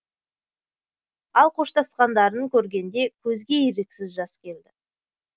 ал қоштасқандарын көргенде көзге еріксіз жас келді